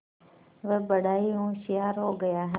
वह बड़ा ही होशियार हो गया है